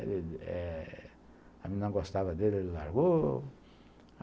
Eh... A menina gostava dele, ele largou.